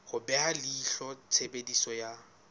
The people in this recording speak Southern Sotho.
ho beha leihlo tshebediso ya